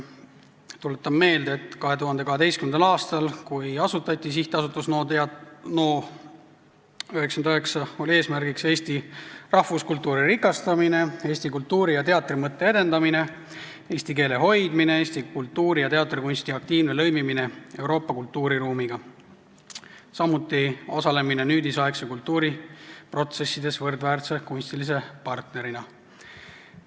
Tuletan meelde, et 2012. aastal, kui asutati SA Teater NO99, oli eesmärgiks eesti rahvuskultuuri rikastamine, eesti kultuuri- ja teatrimõtte edendamine, eesti keele hoidmine, eesti kultuuri ja teatrikunsti aktiivne lõimimine Euroopa kultuuriruumiga ja samuti osalemine nüüdisaegse kultuuri protsessides võrdväärse kunstilise partnerina.